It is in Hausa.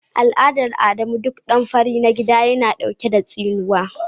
Al'adar Adamu duk dan fari na gida yana dauke da tsinuwa.